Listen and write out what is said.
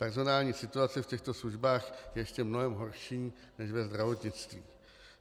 Personální situace v těchto službách je ještě mnohem horší než ve zdravotnictví.